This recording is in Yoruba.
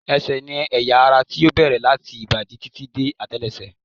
Ẹsẹ̀ ni ẹ̀yà ara tí ó bẹ̀rẹ̀ láti ìbàdí títí dé àtẹ́lẹsẹ̀